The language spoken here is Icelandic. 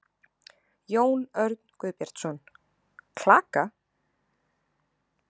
Jón Örn Guðbjartsson: Klaka?